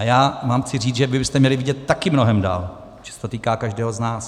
A já vám chci říct, že vy byste měli vidět taky mnohem dál, protože se to týká každého z nás.